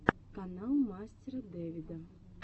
канал мастера дэвида